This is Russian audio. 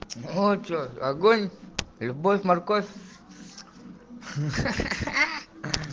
а че огонь любовь-морковь хаха